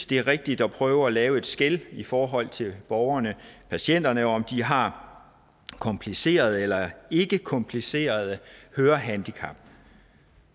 det er rigtigt at prøve at lave et skel i forhold til borgerne patienterne nemlig om de har komplicerede eller ikkekomplicerede hørehandicap